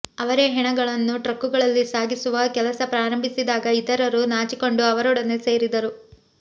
ಅವರೇ ಹೆಣಗಳನ್ನು ಟ್ರಕ್ಕುಗಳಲ್ಲಿ ಸಾಗಿಸುವ ಕೆಲಸ ಪ್ರಾರಂಭಿಸಿದಾಗ ಇತರರೂ ನಾಚಿಕೊಂಡು ಅವರೊಡನೆ ಸೇರಿದರು